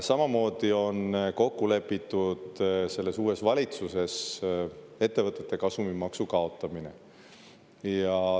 Samamoodi on kokku lepitud selles uues valitsuses ettevõtete kasumimaksu kaotamine.